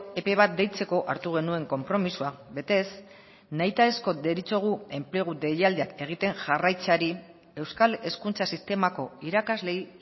epe bat deitzeko hartu genuen konpromisoa betez nahitaezko deritzogu enplegu deialdiak egiten jarraitzeari euskal hezkuntza sistemako irakasleei